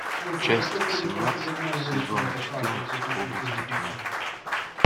часть семнадцать сезона четырнадцать области тьмы